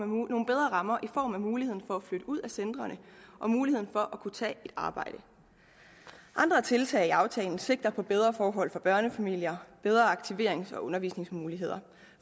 nogle bedre rammer i form af muligheden for at flytte ud af centrene og muligheden for at kunne tage et arbejde andre tiltag i aftalen sigter mod bedre forhold for børnefamilier bedre aktiverings og undervisningsmuligheder